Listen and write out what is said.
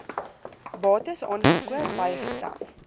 bates aangekoop bygetel